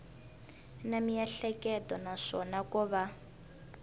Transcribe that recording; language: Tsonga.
na miehleketo naswona ko va